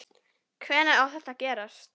Hvenær á þetta að gerast?